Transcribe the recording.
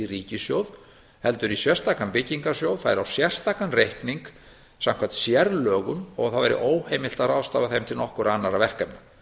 ríkissjóð heldur í sérstakan byggingarsjóð færi á sérstakan reikning samkvæmt sérlögum og það væri óheimilt að ráðstafa þeim til nokkurra annarra verkefna